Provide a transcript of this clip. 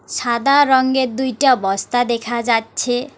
সাদা রঙের দুইটা বস্তা দেখা যাচ্ছে।